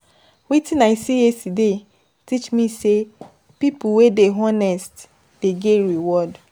Wetin I see yesterday teach me sey pipo wey dey honest dey get reward.